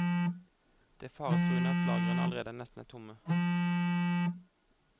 Det faretruende er at lagrene allerede er nesten tomme.